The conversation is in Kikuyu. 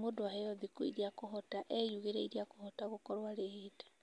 mũndũ aheo thikũ iria akũhota, eyugĩre iria akũhota gũkorwo arĩhĩte.